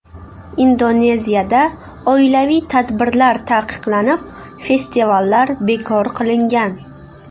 Indoneziyada oilaviy tadbirlar taqiqlanib, festivallar bekor qilingan.